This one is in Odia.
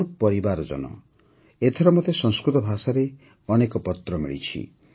ମୋର ପରିବାରଜନ ଏଥର ମତେ ସଂସ୍କୃତ ଭାଷାରେ ଅନେକ ପତ୍ର ମିଳିଛି